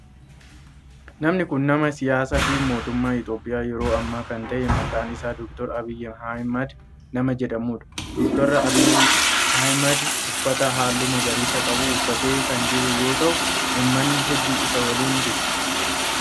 Namni kun nama siyaasaa fi mootummaa Itiyoophiyaa yeroo ammaa kan ta'e maqaan isaa Dr. Abiyi Ahimeed nama jedhamudha. Dr. Abiyi Ahimeed uffata halluu magariisa qabu uffatee kan jiru yoo ta'u ummanni heddu isa waliin jiru.